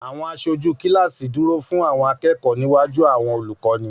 Àwọn aṣojú kíláàsì dúró fún Awon akẹ́kọ̀ọ́ níwájú àwọn olùkọ́ni